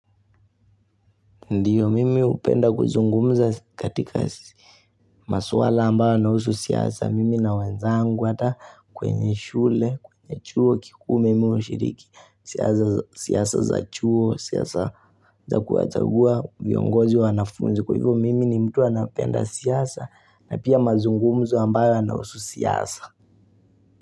Ndio, mimi hupenda kuzungumza katika masuala ambayo yanausu siasa, mimi na wenzangu hata kwenye shule, kwenye chuo kikuu mimi hushiriki, siasa za siasa za chuo, siasa za kuwachagua, viongozi wa wanafunzi, kwa hivyo mimi ni mtu anapenda siasa, na pia mazungumzo ambayo yanausu siasa.